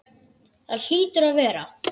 Það hlýtur að vera.